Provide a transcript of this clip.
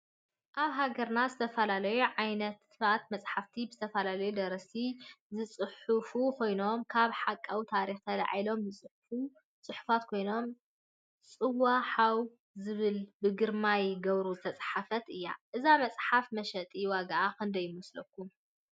አብ ሃገርና ዝተፈላለዩ ዓይነት መፅሓፍቲ ብዝተፈላለዩ ደረስት ዝፁሑፉ ኮይኖም ካብ ሐቃዊ ታሪክ ተላዒሎም ዝፅሕፍዎ ፅሑፍ ኮይኑ ፅዋ ሓው ዝብል ብግርማይ ገብሩ ዝተፃሕፈትእያ ። እዛ መፅሓፍ መሸጢ ዋጋአ ክንደይ ይመሰለኩም?